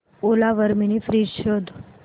ओला वर mini fridge शोध